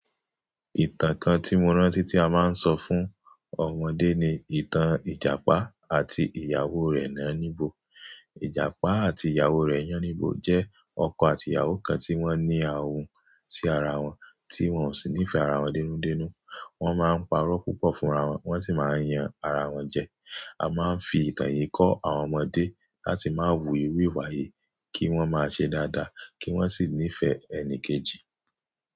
Ìtàn kan tí mo rántí tí a máa ń sọ fún ọmọdé ni ìtàn Ìjàpá àti ìyàwó rẹ̀ Yánníbo. Ìjàpá àti ìyàwó rẹ̀ Yánníbo jẹ́ ọkọ àti ìyàwó kan tí wọ́n ní ahun sí ara wọn, tí wọ́n ò sì nífẹ̀ẹ́ ara wọn dénú dénú. Wọ́n máa ń parọ́ púpọ̀ fún ara wọn, wọ́n sì máa ń yan ara wọn jẹ. A máa ń fi ìtàn yìí kọ́ àwọn ọmọdé láti má wu iru iwà yii, kí wọ́n má ṣe dáadáa, kí wọ́n sì nífẹ̀ẹ́ ẹni kejì.